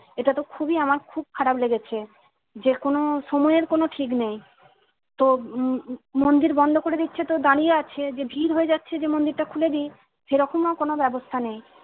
এটাতো খুবই আমার খুব খারাপ লেগেছে যেকোনো সময়ের কোনো ঠিক নেই তো উম মন্দির বন্ধ করে দিচ্ছে তো দাঁড়িয়ে আছে ভিড় হয়ে যাচ্ছে মন্দিরটা খুলেদি সেরকমও কোনো ব্যবস্থা নেই।